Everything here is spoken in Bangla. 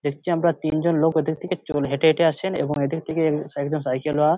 দেখছি আমরা তিনজন লোক ঐদিক থেকে চোল হেঁটে হেঁটে আসছেন এবং এইদিক থেকে স একজন সাইকেল ওয়া--